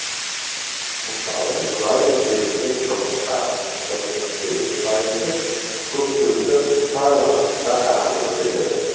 мысалы нұра өзенінде жылдық ағынның тоқсан сегіз пайызы көктемгі қысқа уақытта ағып өтеді